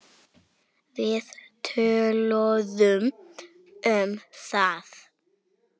Við töluðum um það.